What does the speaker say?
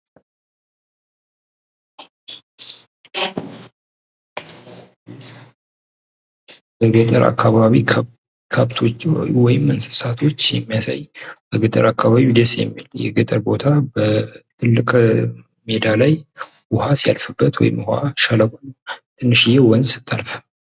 በገጠር አካባቢ ከብቶች ወይም እንሥሣቶች የሚያሳይ በገጠር አካባቢ ደስ የሚል የገጠር ቦታ በትልቅ ሜዳ ላይ ዉሃ ስያልፍበት ወይም ዉሀ ሸለቆ ነው።